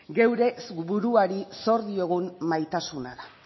gure buruari zor diogun maitasuna da